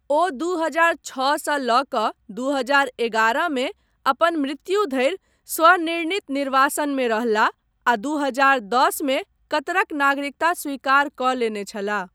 ओ दू हजार छओ सँ लऽ कऽ दू हजार एगारह मे अपन मृत्यु धरि स्वनिर्णीत निर्वासनमे रहलाह, आ दू हजार दश मे कतरक नागरिकता स्वीकार कऽ लेने छलाह।